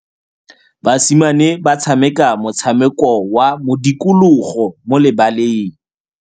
Basimane ba tshameka motshameko wa modikologô mo lebaleng.